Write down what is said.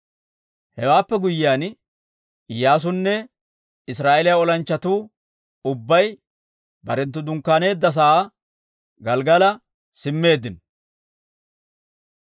Hewaappe guyyiyaan Iyyaasunne Israa'eeliyaa olanchchatuu ubbay barenttu dunkkaaneedda sa'aa Gelggala simmeeddino.